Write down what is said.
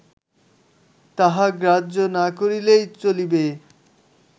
তাহা গ্রাহ্য না করিলেই চলিবে